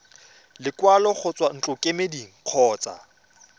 lekwalo go tswa ntlokemeding kgotsa